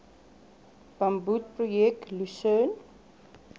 bamboed projek lusern